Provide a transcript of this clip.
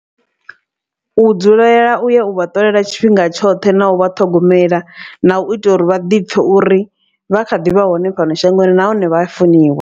U dzulela u ya u vha ṱolela tshifhinga tshoṱhe na u vha ṱhogomela. Na u itela uri vha ḓi pfhe uri vha kha ḓivha hone fhano shangoni nahone vha funiwa.